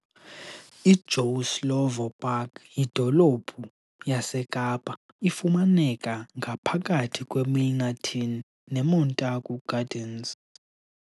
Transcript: I Joe Slovo Park yidolophu yaseKapa, ifumaneka ngaphakathi kwe Milnerton ne Montargu Gardens.